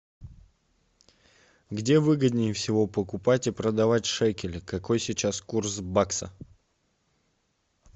где выгоднее всего покупать и продавать шекели какой сейчас курс бакса